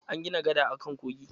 An gina gada akan kogin.